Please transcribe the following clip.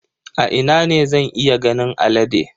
A ina ne zan iya ganin alade?